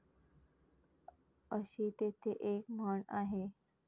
अशी तेथे एक म्हण आहे.